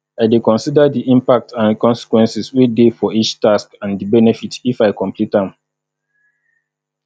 i dey consider di impact and consequences wey dey for each task and di benefit if i complete am